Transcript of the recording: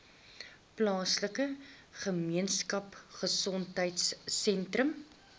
plaaslike gemeenskapgesondheid sentrum